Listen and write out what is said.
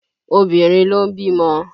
Obìnrin ló ń bímọ